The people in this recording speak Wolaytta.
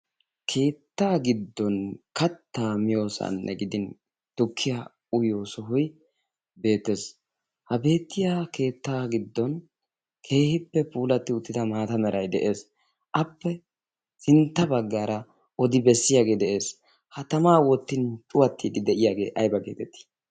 keettaa giddon kattaa miyoosaanne gidin tukkiya uyiyo sohoi beettees. ha beettiya keettaa giddon keehippe puulatti uttida maata merai de7ees. appe sintta baggaara odi bessiyaagee de7ees. ha tamaa woottin cuwaxxiiddi de7iyaagee aiba geetettii?